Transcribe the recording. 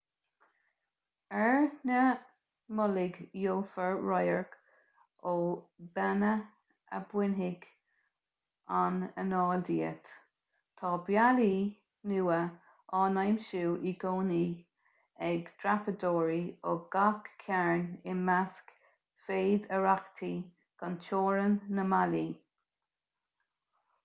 ar na mullaigh gheofar radhairc ó bheanna a bhainfidh an anáil díot tá bealaí nua á n-aimsiú i gcónaí ag dreapadóirí ó gach cearn i measc fhéidearthachtaí gan teorainn na mballaí